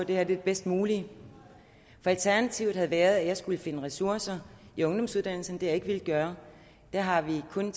her er det bedst mulige for alternativet havde været at jeg skulle finde ressourcer i ungdomsuddannelserne det har jeg ikke villet gøre der har vi kun